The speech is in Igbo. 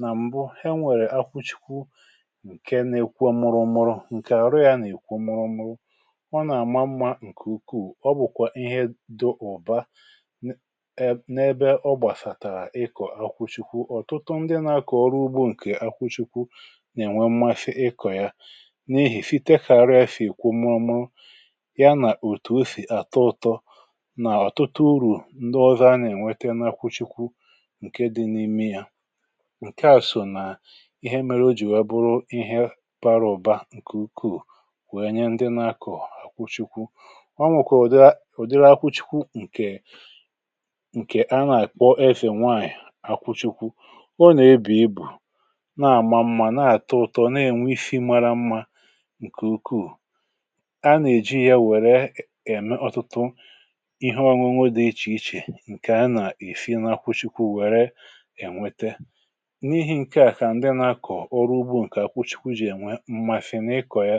nà m̀bụ he nwèrè akwụchikwu ǹkè na-ekwu ọ̀mụrụ̇ ọ̀mụrụ̇ ǹkè àrụ ya nà-èkw omumu ọ nà-àma mmȧ ǹkè ukwuù ọ bụ̀kwà ihe dị ụ̀ba n’ebė ọ gbàsàtàrà ịkọ̀ akwụchikwu ọ̀tụtụ ndị nȧ-akọ̀ ọrụ ugbȯ ǹkè akwụchikwu nà-ènwe mmasị ịkọ̀ ya na-èhìfitekà ara ya fè èkwòmumu nà ọ̀tụtụ urù ndị ọzọ a nà-ènwete n’akwụchikwu ǹke dị n’ime ya ǹke àsọ nà ihe mere o jìwe bụrụ ihe para ọ̀ba ǹkè ukwuu wèe nye ndị nȧ-akọ̀ àkwụchikwu o nwèkwà ụ̀dịrị akwụchikwu ǹkè ǹkè a nà-àkpọ efè nwaànyị̀ àkwụchikwu ọ nà-ebì ibù na-àma mmȧ na-àtụ ụ̀tọ na-ènwe ifi mara mmȧ ǹkè ukwuù ihe ọ̀nwụnwụ dị ichè ichè ǹkè a nà-èsi n’akwụchikwụ wère ènwete n’ihi̇ ǹke àkà ndị nà-akọ̀ ọrụ ugbȯ ǹkè àkwụchikwụ jè nwee mà si n’ịkọ̀ ya